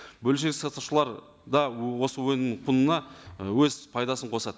бөлшек сатушылар да осы өнім құнына і өз пайдасын қосады